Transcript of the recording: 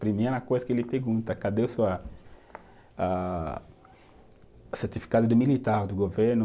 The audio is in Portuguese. Primeira coisa que ele pergunta, cadê o seu ah, ah, certificado de militar do governo?